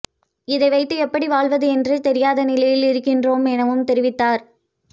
இதை வைத்து எப்படி வாழ்வது என்றே தெரியாத நிலையில் இருக்கின்றோம் எனவும் தெரிவித்தார்